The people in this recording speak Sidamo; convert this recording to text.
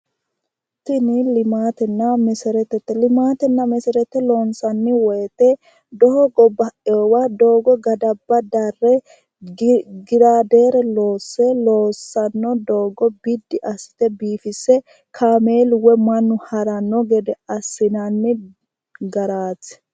Tin limaatena meseretete, limaatena meserete loonsani woyite doogo bainowa doogo gadaba dare giladeere loose loosano doogo biddi asite biiffinse kaameelu woy mannu harano gede asinanni garaati